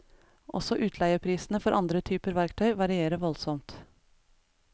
Også utleieprisene for andre typer verktøy varierer voldsomt.